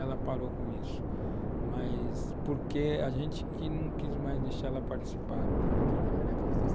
Ela parou com isso, mas porque a gente não quis mais deixar ela participar. Ela trabalhou na